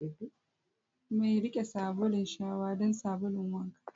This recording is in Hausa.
Mai riƙe sabulun shawa don sabulun wanka.